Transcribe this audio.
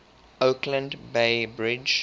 oakland bay bridge